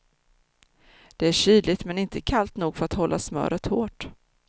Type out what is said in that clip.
Det är kyligt, men inte kallt nog för att hålla smöret hårt.